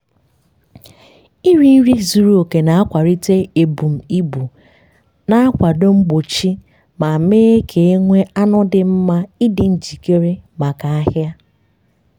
iri nri zuru oke na-akwalite ebum ibu na-akwado mgbochi ma mee ka e nwee anụ dị mma ịdị njikere maka ahịa.